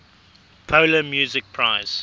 polar music prize